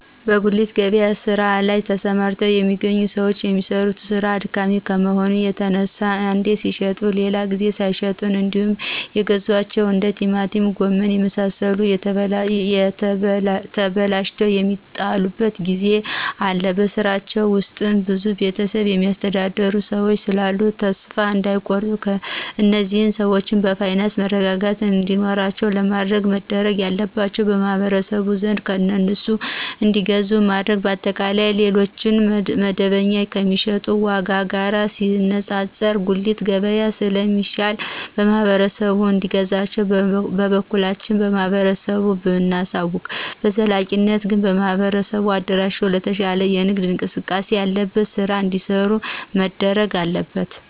በጉሊት ገበያ ስራ ላይ ተሰማርተው የሚገኙ ሰዎች የሚሰሩት ስራ አድካሚ ከመሆኑ የተነሳ አንዴ ሲሽጡ ሌላ ጊዜ ሳይሸጡ እንዴውም የገዟቸው እንደ ቲማቲም ጎመን የመሳሰሉት ተበላሽተው የሚጥሉበት ጊዜ አለ በስራቸው ብዙ ቤተሰብ የሚያስተዳድሩ ሰዎች ስላሉ ተሰፋ እዳይቆርጡ እነዚህን ሰዎች የፋይናንስ መረጋጋት እንዲኖራቸው ለማድረግ መደረግ ያለባቸው ማህበረሰቡ በብዛት ከእነሱ እንዲገዛ ማድረግ። በአጠቃላይ ሌሎች መደበኞ ከሚሸጡት ዎጋ ጋር ሲነጣጠር የጉልቱ ገብያ ስለ ሚሻሉ ማህበረሰቡ እንዲገዛቸው በበኩላችን ለማህበረሰቡ ብናሳውቅ።። በዘላቂነት ግን በማህበር አደራጅቶ የተሻለ የንግድ እንቅስቃሴ ያለበት ስራ እዲሰሩ መደረግ አለበት